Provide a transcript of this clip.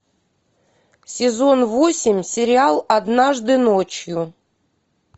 сезон восемь сериал однажды ночью